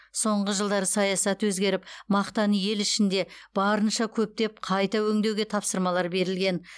соңғы жылдары саясат өзгеріп мақтаны ел ішінде барынша көптеп қайта өңдеуге тапсырмалар берілген